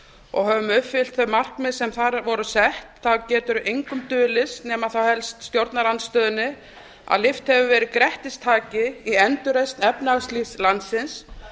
og höfum uppfyllt þau markmið sem þar voru sett þá getur engum dulist nema þá helst stjórnarandstöðunni að lyft hefur verið grettistaki á endurreisn efnahagslífs landsins